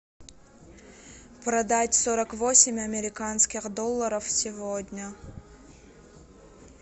продать сорок восемь американских долларов сегодня